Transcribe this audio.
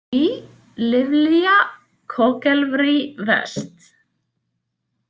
NIJ LVLIIIA Kogelvrij vest.